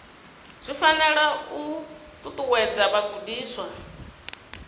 zwi fanela u ṱuṱuwedza vhagudiswa